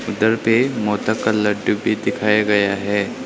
इधर पे मोदक का लड्डू भी दिखाया गया हैं।